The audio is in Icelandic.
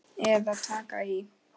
Eða taka í.